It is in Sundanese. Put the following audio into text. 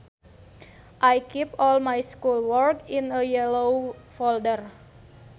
I keep all my schoolwork in a yellow folder